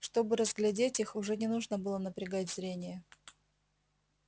чтобы разглядеть их уже не нужно было напрягать зрение